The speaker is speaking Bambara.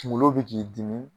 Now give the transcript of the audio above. Kunkolo bɛ k'i dimi